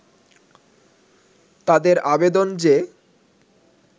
তাদের আবেদন যে